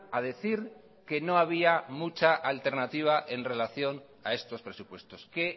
a decir que no había mucha alternativa en relación a estos presupuestos qué